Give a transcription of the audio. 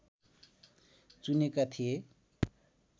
चुनेका थिए